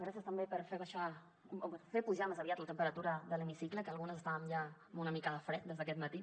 gràcies també per fer baixar o bé fer pujar més aviat la temperatura de l’hemicicle que algunes estàvem ja amb una mica de fred des d’aquest matí